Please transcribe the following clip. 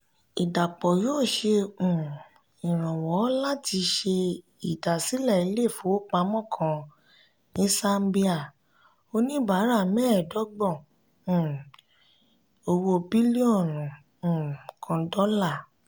ìdàpọ̀ yóò ṣe um iranwọ láti ṣe idasilẹ ilé ifowópamọ́ kan ní sámbíà oníbàárà mẹẹdọgbọn um owó bílíọ̀nù um kan dola.